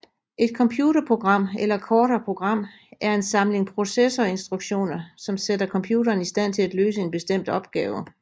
Et computerprogram eller kortere program er en samling processorinstruktioner som sætter computeren i stand til at løse en bestemt opgave